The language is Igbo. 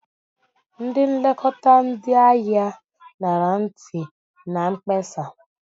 Ndị nlekọta ndị ahịa ṅara ntị na mkpesa.